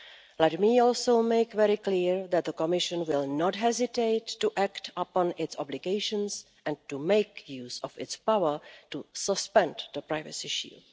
Let me also make it very clear that the Commission will not hesitate to act upon its obligations and to make use of its power to suspend the Privacy Shield.